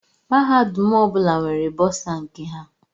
Mahadum ọbụla nwere bọsa nke ha.